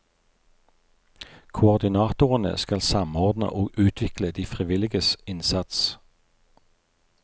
Koordinatorene skal samordne og utvikle de frivilliges innsats.